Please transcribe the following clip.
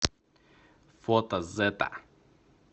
фото зэта